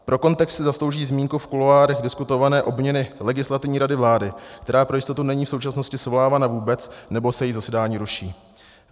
Pro kontext si zaslouží zmínku v kuloárech diskutované obměny Legislativní rady vlády, která pro jistotu není v současnosti svolávána vůbec nebo se její zasedání ruší.